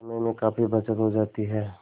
समय में काफी बचत हो जाती है